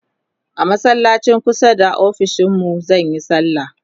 a masallacin kusa da ofishinmu zanyi sallah